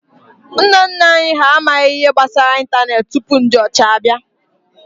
Nna nna anyi ha amaghi ihe gbasara ịntanetị tupu ndi ocha bia